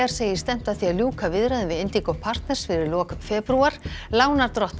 segir stefnt að því að ljúka viðræðum við partners fyrir lok febrúar lánardrottnar